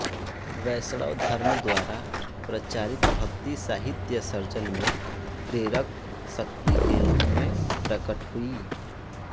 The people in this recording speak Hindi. वैष्णव धर्म द्वारा प्रचारित भक्ति साहित्यसर्जन में प्रेरक शक्ति के रूप में प्रकट हुई